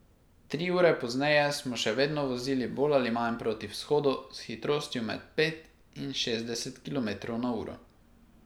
Tri ure pozneje smo še vedno vozili bolj ali manj proti vzhodu, s hitrostjo med pet in šestdeset kilometrov na uro.